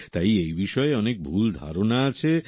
তাই এই বিষয়ে অনেক ভুল ধারণা আছে